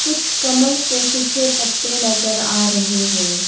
कुछ कमल के सूखे पत्ते नजर आ रहे हैं।